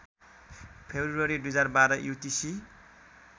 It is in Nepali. February २०१२ UTC